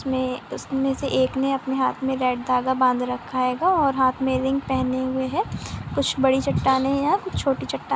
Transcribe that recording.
में उसमे से एक ने अपने हाथ में रेड धागा बंद रखा है और हाथ में रिंग पहने हुए है कुछ बड़ी चट्टाने है यहां कुछ छोटी चट्टान है।